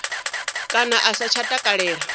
kana a sa tsha takalela